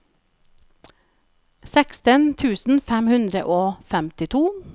seksten tusen fem hundre og femtito